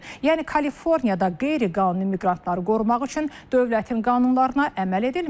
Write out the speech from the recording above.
Yəni Kaliforniyada qeyri-qanuni miqrantları qorumaq üçün dövlətin qanunlarına əməl edilmir.